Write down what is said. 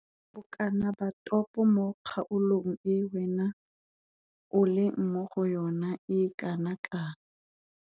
Bokana ba topo mo kgaolong e wena o leng mo go yona e kana kang?